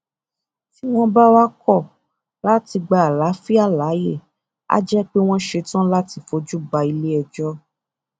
tí wọn bá wáá kọ láti gba àlàáfíà láàyè á jẹ pé wọn ṣetán láti fojú ba iléẹjọ